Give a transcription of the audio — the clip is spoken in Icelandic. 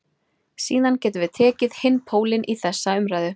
Síðan getum við tekið hinn pólinn í þessa umræðu.